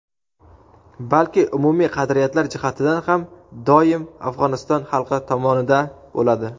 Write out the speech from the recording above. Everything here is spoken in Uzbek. balki umumiy qadriyatlar jihatidan ham doimo Afg‘oniston xalqi tomonida bo‘ladi.